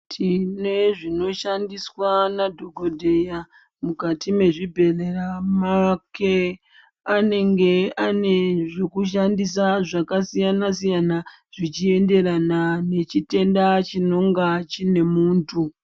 Tine zvinoshandiswa na dhokodheya mukati mezvibhedhera mwake. Anenge achishandisa zvakasiyana siyana zvichienderera nechitenda chinenge chine muntu.